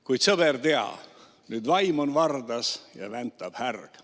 Kuid sõber, tea, nüüd vaim on vardas ja väntab härg.